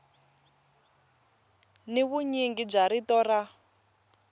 ni vunyingi bya rito ra